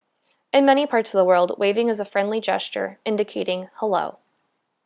in many parts of the world waving is a friendly gesture indicating hello